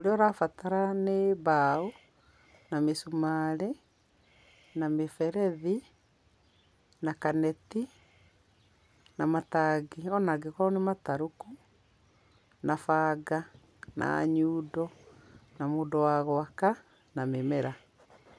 Ũrĩa ũrabatara nĩ mbaũ, na mĩcumarĩ, na mĩberethi, na kaneti, na matangi ĩ ona mangĩkorwo nĩ matarũku, na banga, na nyundo, na mũndũ wa gwaka na mĩmera.